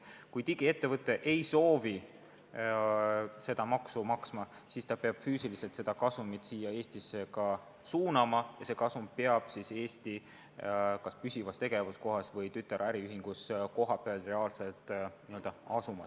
Kui digiettevõte ei soovi seda maksu maksta, siis ta peab füüsiliselt seda kasumit siia Eestisse suunama ja see kasum peab Eestis kas püsivas tegevuskohas või tütaräriühingus kohapeal reaalselt asuma.